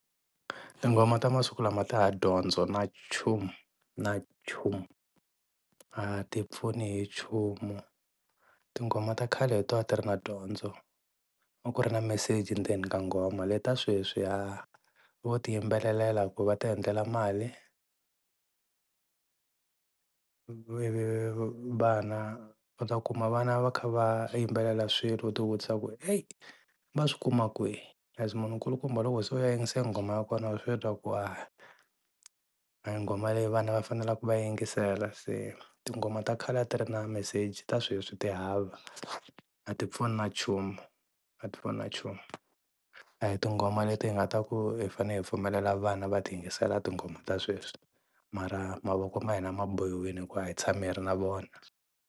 Tinghoma ta masiku lama ti hava dyondzo na nchumu na nchumu a ti pfuni hi nchumu, tinghoma ta khale hi to a ti ri na dyondzo, a ku ri na meseji ndzeni ka nghoma. Leta sweswi ha vo ti yimbelelela ku va ti endlela mali. vana u ta kuma vana va kha va yimbelela swilo u ti vutisa ku eyi va swi kuma kwihi leswi munhu nkulukumba loko se u ya yingasela nghoma ya kona wa swi twa ku ha a hi nghoma leyi vana va faneleke va yi yingisela se tinghoma ta khale a ti ri na meseji ta sweswi ti hava. A ti pfuni na nchumu, a ti pfuni na nchumu, a hi tinghoma leti hi nga ta ku hi fanele hi pfumelela vana va ti yingisela tinghoma ta sweswi mara mavoko ma hima ma bohowile hikuva a hi tshami hi ri na vona.